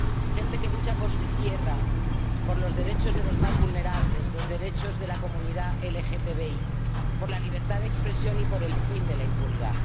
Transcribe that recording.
gente que lucha por su tierra, por los derechos de los más vulnerables, los derechos de la comunidad LGBTI, por la libertad de expresión y por el fin de la impunidad.